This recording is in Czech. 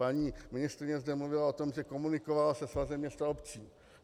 Paní ministryně zde mluvila o tom, že komunikovala se Svazem měst a obcí.